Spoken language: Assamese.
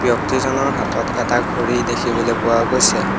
ব্যক্তিজনৰ হাতত এটা ঘড়ী দেখিবলৈ পোৱা গৈছে।